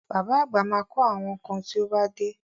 Bàbá àgbà ma kọ́ àwọn kan tí ó bá dé